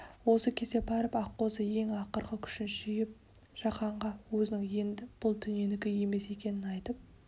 осы кезде барып аққозы ең ақырғы күшін жиып жағанға өзінің енді бұл дүниенікі емес екенін айтып